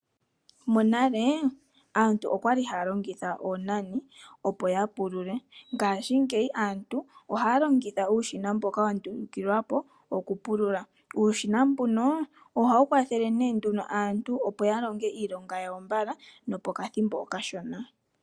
Monale aantu oyali haya longitha oonani opo ya pulule. Ngaashingeyi aantu ohaya longitha uushina mboka wa ndulukilwa po okupulula. Uushina mbuno ohawu kwathele nee nduno aantu opo ya longe iilonga yawo mbala nopokathimbo okashona.